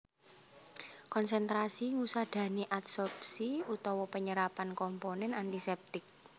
Konsentrasi ngusadani adsorpsi utawa penyerapan komponen antisèptik